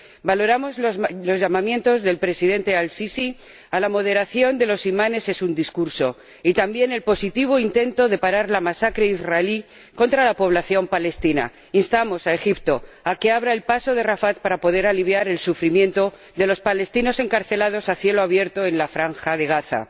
Valoramos los llamamientos del Presidente Al Sisi a la moderación de los imanes en su discurso y también el positivo intento de parar la masacre israelí contra la población palestina. Instamos a Egipto a que abra el paso de Rafah para poder aliviar el sufrimiento de los palestinos encarcelados a cielo abierto en la franja de Gaza.